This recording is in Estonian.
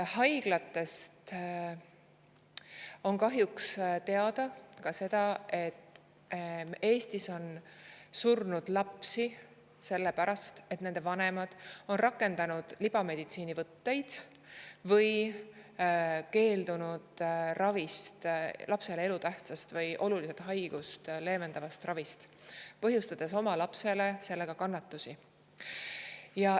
Haiglatest on kahjuks ka seda, et Eestis on surnud lapsi selle pärast, et nende vanemad on rakendanud libameditsiinivõtteid või keeldunud ravist, lapsele elutähtsast või haigust oluliselt leevendavast ravist, põhjustades sellega oma lapsele kannatusi.